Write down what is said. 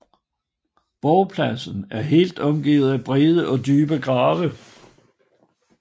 Borgpladsen er helt omgivet af brede og dybe grave